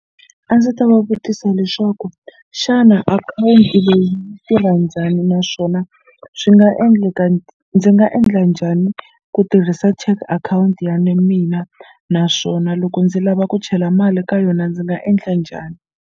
A ndzi ta va vutisa leswaku xana akhawunti leyi yi tirha njhani naswona swi nga endleka ndzi nga endla njhani ku tirhisa check akhawunti ya mina naswona loko ndzi lava ku chela mali ka yona ndzi nga endla njhani.